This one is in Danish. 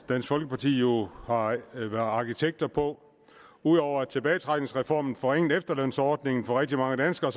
dansk folkeparti jo har været arkitekter på ud over at tilbagetrækningsreformen forringede efterlønsordningen for rigtig mange danskere